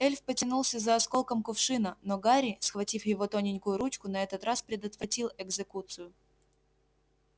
эльф потянулся за осколком кувшина но гарри схватив его тоненькую ручку на этот раз предотвратил экзекуцию